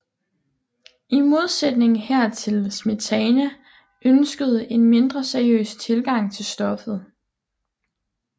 I modsætning hertil Smetana ønskede en mindre seriøs tilgang til stoffet